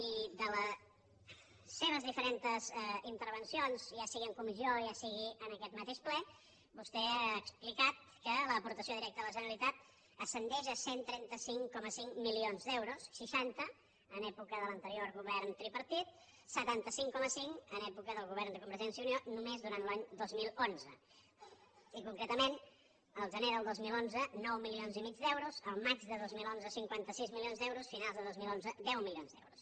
i en les seves diferents intervencions ja sigui en comissió ja sigui en aquest mateix ple vostè ha explicat que l’aportació directa de la generalitat ascendeix a cent i trenta cinc coma cinc milions d’euros seixanta en època de l’anterior govern tripartit setanta cinc coma cinc en època del govern de convergència i unió només durant l’any dos mil onze i concretament al gener del dos mil onze nou milions i mig d’euros al maig de dos mil onze cinquanta sis milions d’euros finals de dos mil onze deu milions d’euros